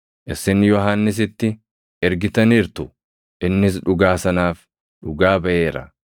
“Isin Yohannisitti ergitaniirtu; innis dhugaa sanaaf, dhugaa baʼeera.